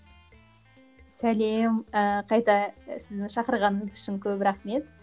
сәлем ыыы қайта сіздің шақырғаныңыз үшін көп рахмет